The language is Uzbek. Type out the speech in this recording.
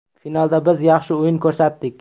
Finalda biz yaxshi o‘yin ko‘rsatdik.